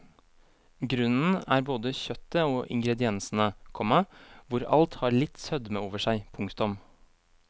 Grunnen er både kjøttet og ingrediensene, komma hvor alt har litt sødme over seg. punktum